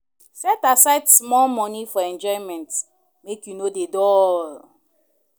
Set aside small moni for enjoyment, make you no dey dull.